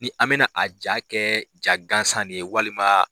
Ni an bɛna a ja kɛ ja gansan ye walima